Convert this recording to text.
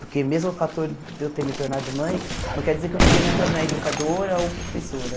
Porque mesmo o fator de eu ter me tornado mãe não quer dizer que eu queria me tornar educadora ou professora.